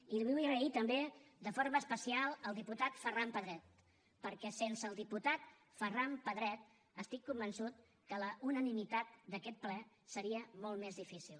i vull donar les gràcies també de forma especial al diputat ferran pedret perquè sense el diputat ferran pedret estic convençut que la unanimitat d’aquest ple seria molt més difícil